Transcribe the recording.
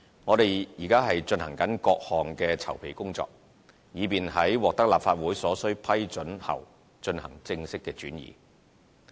我們現正進行各項籌備工作，以便在獲得立法會所需批准後進行正式轉移。